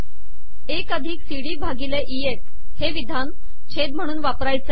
एक अिधक C D भािगले इ एफ हे िवधान छेद महणून वापरणे आहे